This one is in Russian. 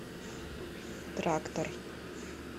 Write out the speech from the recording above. трактор